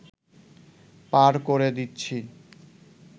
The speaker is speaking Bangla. পার করে দিচ্ছি